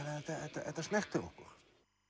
þetta snertir okkur